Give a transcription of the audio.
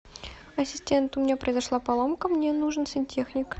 ассистент у меня произошла поломка мне нужен сантехник